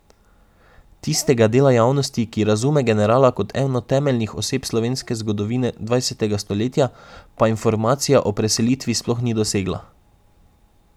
Tistega dela javnosti, ki razume generala kot eno temeljnih oseb slovenske zgodovine dvajsetega stoletja, pa informacija o preselitvi sploh ni dosegla!